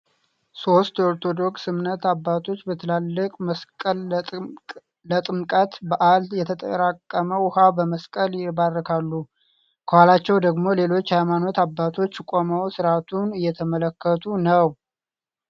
ሶስት የኦርቶዶክስ እምነት አባቶች በትላልቅ መስቀል ለጥምቀት በአል የተጠራቀመ ዉሃ በመስቀል ይባርካሉ፤ ከኋላቸው ደግሞ ሌሎች የሃይማኖት አባቶች ቆመው ስርአቱን እየተመለከቱ ነው።